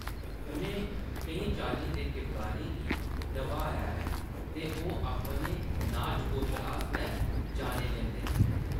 उʼनें केईं चाल्ली दे किरदारें गी नभाया ऐ ते ओह्‌‌ अपने नाच कौशल आस्तै जाने जंदे न।